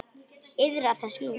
Iðrast þess nú.